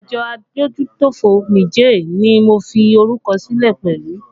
Àjọ adójútòfò Niger ni mo fi orúkọ sílẹ̀ pẹ̀lú